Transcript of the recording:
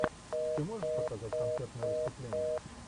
ты можешь показать концертное выступление